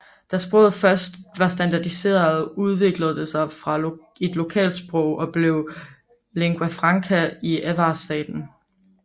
Da sproget først var standardiseret udviklede det sig fra et lokalsprog og blev lingua franca i Avar staten